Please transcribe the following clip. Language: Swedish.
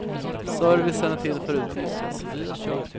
Servicen är till för att utnyttjas.